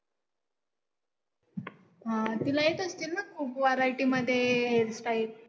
हा, तिला येत असेल ना खूप variety मध्ये hairstyle?